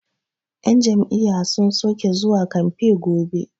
yan Jam'iyya sun soke zuwa kamfe gobe